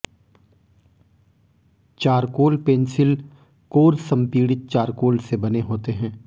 charcoal pencil core संपीड़ित charcoal से बने होते हैं